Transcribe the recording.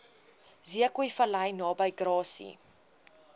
zeekoevlei naby grassy